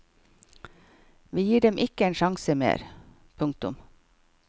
Vi gir dem ikke en sjanse mer. punktum